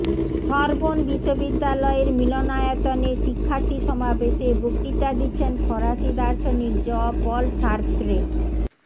Sorbonne বিশ্ববিদ্যালয়ের মিলনায়তনে শিক্ষার্থী সমাবেশে বক্তৃতা দিচ্ছেন ফরাসী দার্শনিক জঁ পল সার্ত্রে